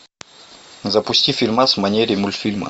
запусти фильмас в манере мультфильма